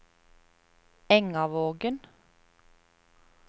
Engavågen